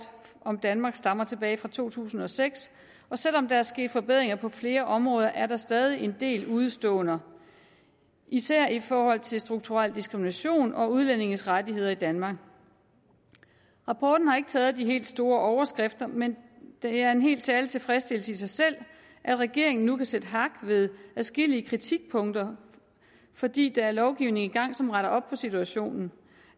om danmark stammer tilbage fra to tusind og seks og selv om der er sket forbedringer på flere områder er der stadig en del udeståender især i forhold til strukturel diskrimination og udlændinges rettigheder i danmark rapporten har ikke taget de helt store overskrifter men det er en helt særlig tilfredsstillelse i sig selv at regeringen nu kan sætte hak ved adskillige kritikpunkter fordi der er lovgivning i gang som retter op på situationen